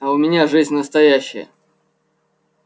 а у меня жизнь настоящая